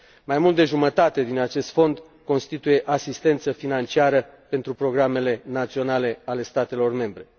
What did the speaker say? Mai mult de jumătate din acest fond constituie asistență financiară pentru programele naționale ale statelor membre.